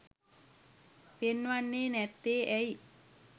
පෙන්වන්නේ නැත්තේ ඇයි?